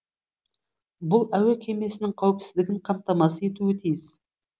бұл әуе кемесінің қауіпсіздігін қамтамасыз етуі тиіс